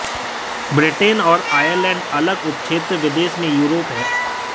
Britain और Ireland अलग उपक्षेत्र विदेश में यूरोप है